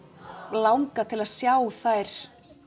langað til að sjá þær